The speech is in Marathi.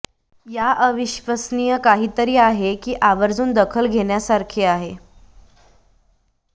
या अविश्वसनीय काहीतरी आहे की आवर्जून दखल घेण्यासारखे आहे